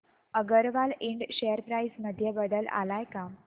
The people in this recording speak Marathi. अगरवाल इंड शेअर प्राइस मध्ये बदल आलाय का